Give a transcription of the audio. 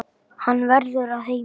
Hann verður að heiman.